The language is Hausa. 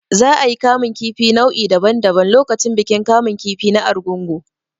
Za a yi kamun kifi nau'i daban daban lokacin bikin kamun kifi na Arugungu.